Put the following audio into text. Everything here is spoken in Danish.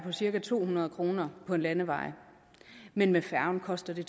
cirka to hundrede kroner på en landevej men med færgen koster det